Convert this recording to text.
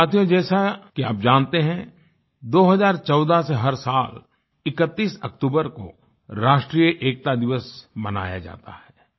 साथियो जैसा कि आप जानते है 2014 से हर साल 31 अक्तूबर को राष्ट्रीय एकता दिवस मनाया जाता है